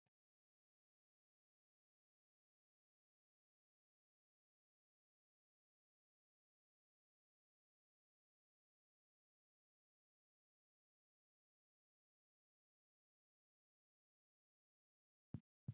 aleenni nooti maa xawisanno misileeti yinummoro addi addi dananna kuula woy biinfille amaddino footooti yaate qoltenno baxissannote xa tenne yannanni togoo footo haara danchate